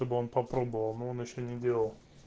чтобы он попробовал но он ещё не делал